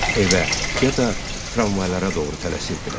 Evə, ya da tramvaylara doğru tələsirdilər.